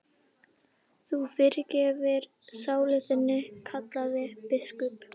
Þú fyrirgerir sálu þinni, kallaði biskup.